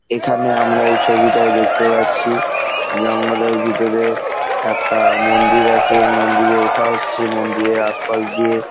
এখনে আমরা এই ছবিটায় দেখতে পাচ্ছি জঙ্গল এর ভিতরে একটা মন্দির আছে মন্দির এ ওঠা হচ্ছে মন্দির এর আশপাশ দিয়ে।